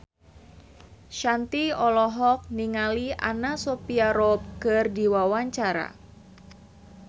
Shanti olohok ningali Anna Sophia Robb keur diwawancara